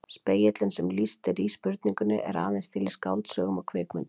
Spegillinn sem lýst er í spurningunni er aðeins til í skáldsögum og kvikmyndum.